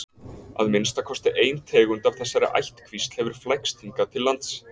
að minnsta kosti ein tegund af þessari ættkvísl hefur flækst hingað til lands